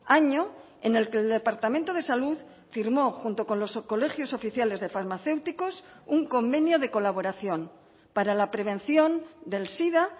año en el que el departamento de salud firmó junto con los colegios oficiales de farmacéuticos un convenio de colaboración para la prevención del sida